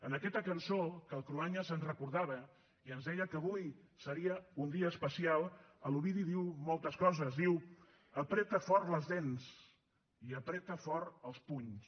en aquesta cançó que el cruanyes ens recordava i ens deia que avui seria un dia especial l’ovidi diu moltes coses diu apreta fort les dents apreta fort els punys